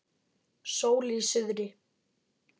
Sól í suðri.